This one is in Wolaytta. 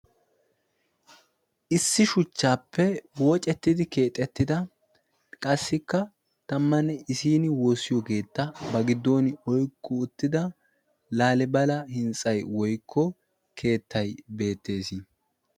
Issi shuchchappe wooccettidi keexxetida qassikka tammanne issini keetta ba giddon oyqqi uttida laalibala hintsay woykko keetay beettees.